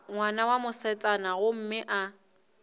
ngwana wa mosetsana gomme a